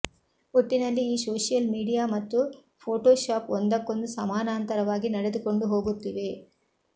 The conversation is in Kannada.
ಒಟ್ಟಿನಲ್ಲಿ ಈ ಸೋಶಿಯಲ್ ಮೀಡಿಯಾ ಮತ್ತು ಫೋಟೋಶಾಪ್ ಒಂದಕ್ಕೊಂದು ಸಮಾನಂತರವಾಗಿ ನಡೆದುಕೊಂಡು ಹೋಗುತ್ತಿವೆ